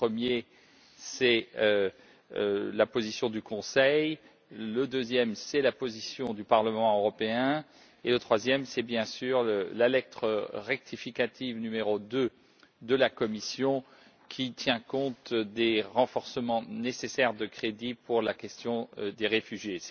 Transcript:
Le premier, c'est la position du Conseil, le deuxième, c'est la position du Parlement européen, et le troisième, c'est bien sûr la lettre rectificative n° 2 de la Commission, qui tient compte des renforcements nécessaires de crédits pour la question des réfugiés.